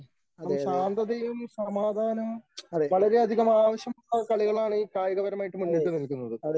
ശാന്തതയും സമാധാനവും വളരെയധികം ആവശ്യമുള്ള കളികളാണ് ഈ കായികപരമായിട്ട് മുന്നിട്ടുനിൽക്കുന്നത്.